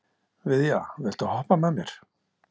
Viðja, viltu hoppa með mér?